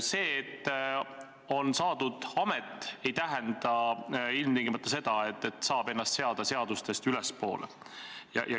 See, et on saadud amet, ei tähenda ilmtingimata seda, et saab ennast seada seadustest ülespoole.